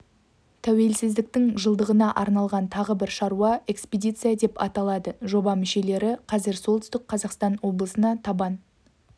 тәуелсіздіктің жылдығына арналған тағы бір шара экспедиция деп аталады жоба мүшелері қазір солтүстік қазақстан облысына табан